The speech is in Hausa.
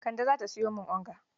Kande za ta sayo min onga